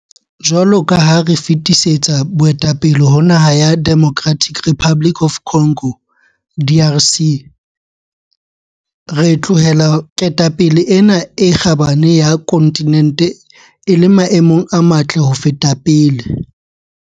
Jwalo ka ha re fetisetsa boetapele ho naha ya Democratic Republic of Congo, DRC, re tlohela ketapele ena e kgabane ya kontinente e le maemong a matle ho feta pele.